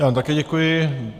Já vám také děkuji.